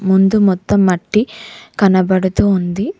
ముందు మొత్తం మట్టి కనబడుతూ ఉంది.